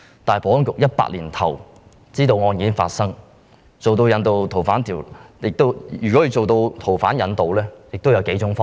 但是，保安局2018年年初已知道發生該案，如要進行逃犯引渡，應有幾種方法。